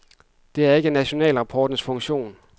Det er ikke nationalrapportens funktion.